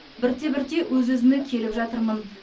бірте бірте өз өзіме келіп жатырмын